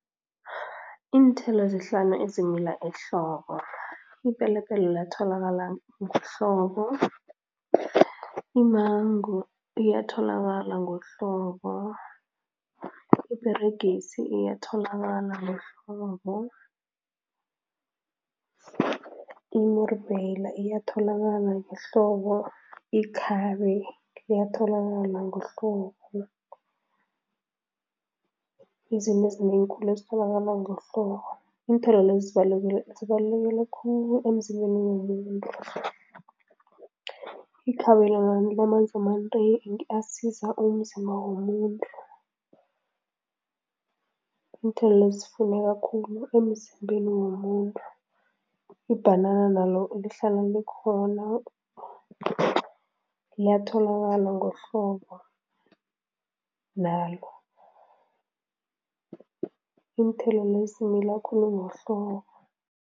Iinthelo ezihlanu ezimila ehlobo, ipelepele liyatholakala ngehlobo, imango iyatholakala ngohlobo, iperegisi iyatholakala ngohlobo, imurubheyila iyatholakala ngehlobo, ikhabe liyatholakala ngohlobo, izinto ezinengi khulu ezitholakala ngohlobo, iinthelo lezi zibalulekile khulu emzimbeni womuntu. Ikhabe lona linamanzi amanengi asiza umzimba womuntu, iinthelo lezi zifuneka khulu emzimbeni womuntu. Ibhanana nalo lihlala likhona, liyatholaka ngohlobo nalo, iinthelo lezi zimila khulu ngohlobo.